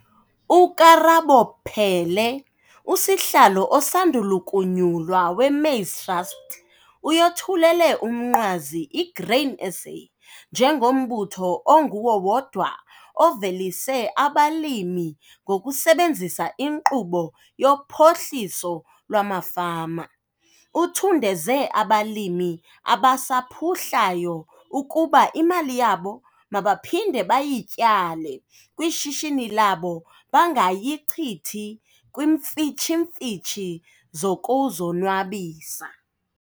UKarabo Peele, usihlalo osandulukunyulwa weMaize Trust, uyothulele umnqwazi iGrain SA njengombutho onguwo wodwa ovelise abalimi ngokusebenzisa inkqubo yophohliso lwamafama. Uthundeze abalimi abasaphuhlayo ukuba imali yabo mabaphinde bayityale kwishishini labo bangayichithi kwimfitshi-mfitshi zokuzonwabisa.